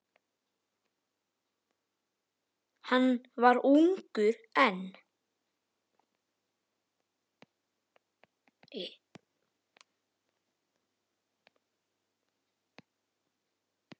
Hann var ungur enn.